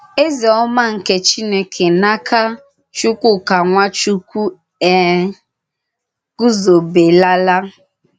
Ézèọ̀mà nke Chìnèkè n’áka Chùkwùkà Nwàchùkwù è gùzòbèlàlà.